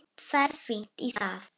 Ferð fínt í það.